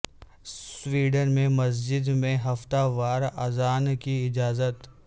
Sweden میں مسجد میں ہفتہ وار اذان کی اجازت